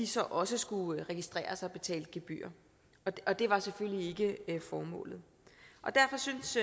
så også skulle registreres og betale gebyr det var selvfølgelig ikke formålet derfor synes